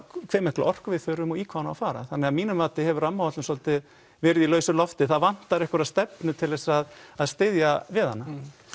hve mikla orku við þurfum og í hvað hún á að fara þannig að mínu mati hefur rammaáætlun svolítið verið í lausu lofti það vantar einhverja stefnu til þess að að styðja við hana